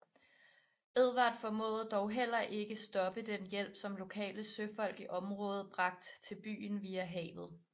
Edvard formåede dog heller ikke stoppe den hjælp som lokale søfolk i området bragt til byen via havet